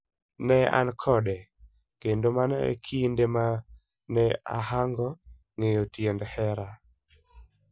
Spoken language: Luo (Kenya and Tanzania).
Ne an kode, kendo mano e kinde ma ne ahango ng'eyo tiend hera.